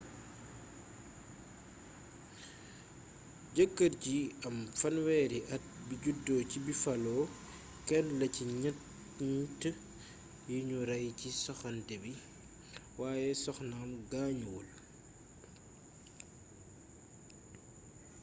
jëkër ji am fanweeri at bi judo ci buffalo kenn la ci ñént yi nu ray ci soxanté bi wayé soxnaam gaañuwul